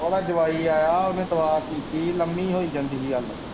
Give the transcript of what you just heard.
ਉਹਦਾ ਜਵਾਈ ਆਇਆ ਉਹਨੇ ਦੁਆ ਕੀਤੀ ਲੰਮੀ ਹੋਈ ਜਾਂਦੀ ਹੀ ਅੱਲ।